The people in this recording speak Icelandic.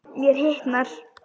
Mér hitnar.